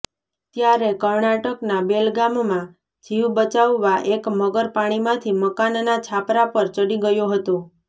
ત્યારે કર્ણાટકના બેલગામમાં જીવ બચાવવા એક મગર પાણીમાંથી મકાનના છાપરા પર ચડી ગયો હતો